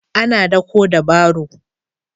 Ana daƙo da baro.